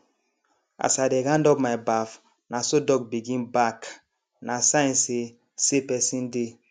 as i dey round up my baff na so dog begin bark na sign say say person dey